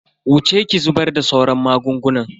Wuce ki zubar da sauran magungunan.